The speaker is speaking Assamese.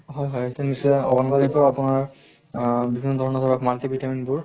হয় হয় নিশ্চয় আংগনবাড়িৰ পৰা আপোনাৰ আহ বিভিন্ন ধৰণৰ ধৰক multi vitamin বোৰ